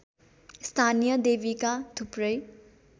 स्थानीय देवीका थुप्रै